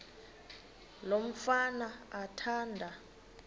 lo mfana athanda